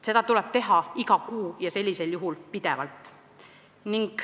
Seda tuleb teha iga kuu ja sellisel juhul pidevalt.